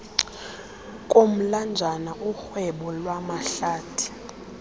komlanjana urhwebo lwamahlathi